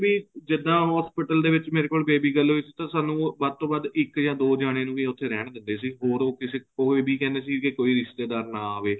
ਵੀ ਜਿੱਦਾ hospital ਦੇ ਵਿੱਚ ਮੇਰੇ ਕੋਲ baby girl ਹੋਈ ਸੀ ਤਾਂ ਸਾਨੂੰ ਵੱਧ ਤੋ ਵੱਧ ਇੱਕ ਜਾਂ ਦੋ ਜਾਣੇ ਨੂੰ ਹੀ ਉੱਥੇ ਰਹਿਣ ਦਿੰਦੇ ਸੀ ਔਰ ਉਹ ਕਿਸੇ ਕੋਈ ਵੀ ਕਹਿੰਦਾ ਸੀ ਕੋਈ ਹੋਰ ਰਿਸ਼ਤੇਦਾਰ ਨਾ ਆਵੇ